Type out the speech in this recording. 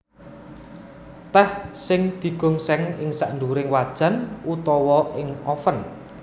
Tèh sing digongsèng ing sadhuwuring wajan utawa ing oven